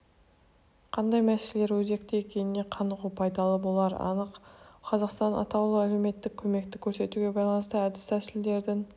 қандай мәселелер өзекті екеніне қанығу пайдалы болары анық қазақстанда атаулы әлеуметтік көмекті көрсетуге байланысты әдіс-тәсілдердің